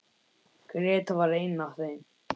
Gréta var ein af þeim.